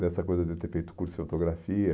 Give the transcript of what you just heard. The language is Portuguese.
Dessa coisa de ter feito curso de fotografia.